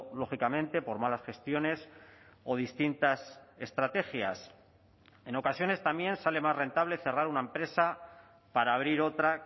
lógicamente por malas gestiones o distintas estrategias en ocasiones también sale más rentable cerrar una empresa para abrir otra